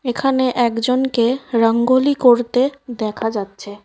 এখানে একজনকে রঙ্গোলি করতে দেখা যাচ্ছে।